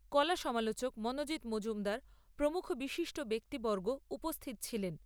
কলা সমালোচক মনোজিৎ মজুমদার প্রমুখ বিশিষ্ট ব্যক্তিবর্গ উপস্থিত ছিলেন।